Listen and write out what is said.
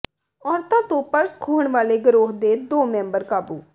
ਔਰਤਾਂ ਤੋਂ ਪਰਸ ਖੋਹਣ ਵਾਲੇ ਗਰੋਹ ਦੇ ਦੋ ਮੈਂਬਰ ਕਾਬੂ